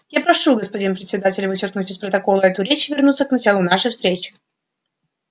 я прошу господин председатель вычеркнуть из протокола эту речь и вернуться к началу нашей встречи